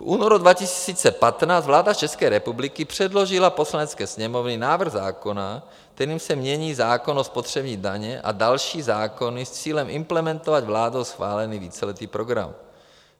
V únoru 2015 vláda České republiky předložila Poslanecké sněmovně návrh zákona, kterým se mění zákon o spotřební dani a další zákony s cílem implementovat vládou schválený víceletý program.